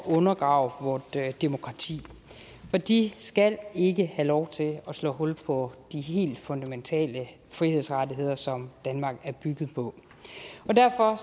undergrave vort demokrati de skal ikke have lov til at slå hul på de helt fundamentale frihedsrettigheder som danmark er bygget på derfor